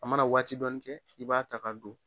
A mana waati dɔɔni kɛ i b'a ta ka don.